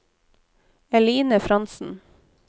Eline Frantzen